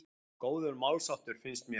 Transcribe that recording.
Góður málsháttur, finnst mér.